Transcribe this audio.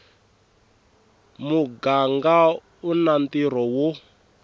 muganga u na ntirho wo